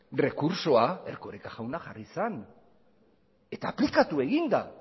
errekurtsoa erkoreka jauna jarri zen eta aplikatu egin da